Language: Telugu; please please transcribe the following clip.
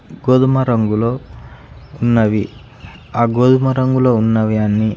గోధుమ రంగులో ఉన్నవి. ఆ గోధుమ రంగులో ఉన్నవి అన్నీ--